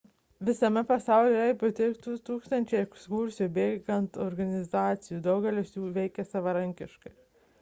visame pasaulyje yra beveik 200 ekskursijų bėgant organizacijų daugelis jų veikia savarankiškai